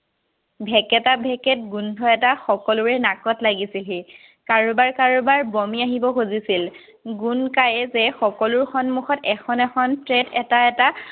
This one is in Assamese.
ভেকেটা-ভেকেট গোন্ধ এটা সকলোৰে নাকত লাগিছিলহি। কাৰোবাৰ-কাৰোবাৰ বমি আহিব খুজিছিল। গোন্ধ যে সকলোৰে সন্মুখত এখন এখন এটা এটা